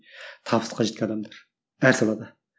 табысқа жеткен адамдар әр салада